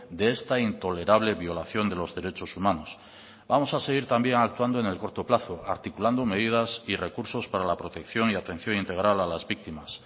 de esta intolerable violación de los derechos humanos vamos a seguir también actuando en el corto plazo articulando medidas y recursos para la protección y atención integral a las víctimas